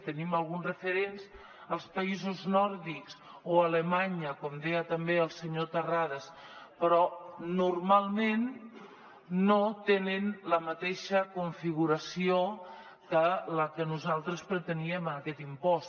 tenim alguns referents als països nòrdics o a alemanya com deia també el senyor terrades però normalment no tenen la mateixa configuració que la que nosaltres preteníem en aquest impost